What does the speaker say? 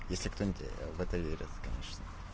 если кто-нибудь в это верит конечно